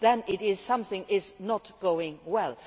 Then something is not going well.